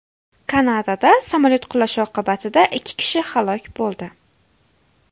Kanadada samolyot qulashi oqibatida ikki kishi halok bo‘ldi.